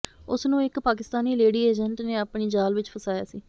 ਉਸ ਨੂੰ ਇਕ ਪਾਕਿਸਤਾਨੀ ਲੇਡੀ ਏਜੰਟ ਨੇ ਆਪਣੇ ਜਾਲ ਵਿਚ ਫਸਾਇਆ ਸੀ